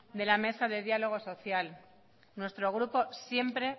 de la mesa de diálogo social nuestro grupo siempre